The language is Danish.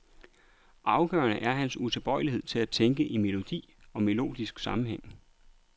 Afgørende er hans utilbøjelighed til at tænke i melodi og melodisk sammenhæng.